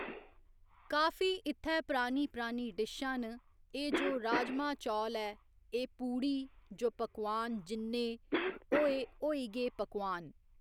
काफी इ'त्थै परानी परानी डिशां न एह् जो राजमांह् चौल ऐ एह् पुड़ी जो पकोआन जिन्ने होए होई गे पकोआन